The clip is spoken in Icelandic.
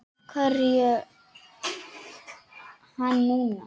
Af hverju hann núna?